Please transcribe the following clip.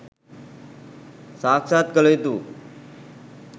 සාක්‍ෂාත් කළ යුතු වූ